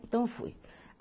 Então eu fui.